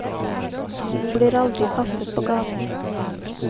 Hun blir aldri kastet på gaten.